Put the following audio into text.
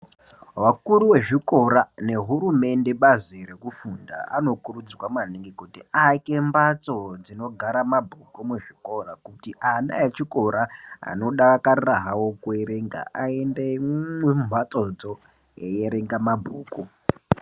Vakuru vezvikora nehurumende bazi rekufunda vanokurudzirwa kuti aake matso dzinogara mabhuku muzvikora kuti ana echikora anodakarira hawo kuerenga aende mumatsodzo veierenga mabhuku.